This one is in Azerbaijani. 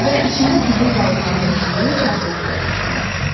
Və içində qızıl balıqların üzdüyü çar hovuza düşdülər.